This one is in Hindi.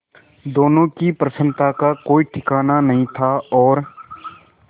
दोनों की प्रसन्नता का कोई ठिकाना नहीं था और